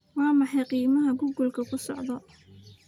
waa maxay qiimaha google ku socdaa?